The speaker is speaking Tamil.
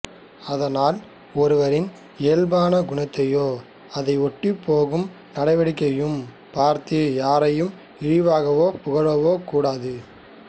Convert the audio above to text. அதனால் ஒருவனின் இயல்பான குணத்தையோ அதை ஒட்டிப் போகும் நடவடிககைகளையும் பார்த்து யாரையும் இகழவோ புகழவோ கூடாது